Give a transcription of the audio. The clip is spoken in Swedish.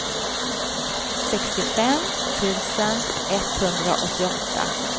sextiofem tusen etthundraåttioåtta